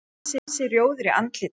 Hann var ansi rjóður í andliti.